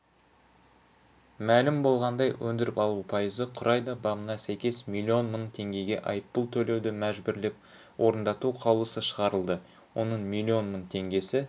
мәлім болғандай өндіріп алу пайызы құрайды бабына сәйкес миллион мың теңгеге айыппұл төлеуді мәжбүрлеп орындату қаулысы шығарылды оның миллион мың теңгесі